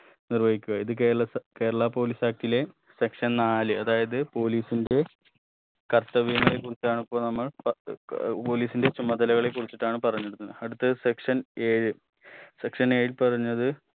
നിർവഹിക്കുക ഇത് കേരള സ കേരളാ police act ലെ section നാല് അതായത് police ന്റെ കർത്തവ്യങ്ങൾ കുറിച്ചാണിപ്പോ നമ്മൾ ഏർ police ന്റെ ചുമതലകളെ കുറിച്ചിട്ടാണ് പറഞ്ഞ് വരുന്നത് അടുത്തത് section ഏഴ് section ഏഴിൽ പറഞ്ഞത്